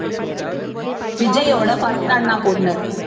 விஜய்யோட first அண்ணா பொண்ணு